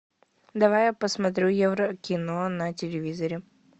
давай я посмотрю еврокино на телевизоре